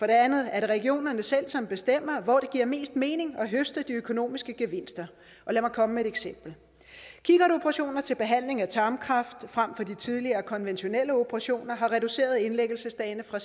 det andet er det regionerne selv som bestemmer hvor det giver mest mening at høste de økonomiske gevinster og lad mig komme med et eksempel kikkertoperationer til behandling af tarmkræft frem for de tidligere konventionelle operationer har reduceret indlæggelsesdagene fra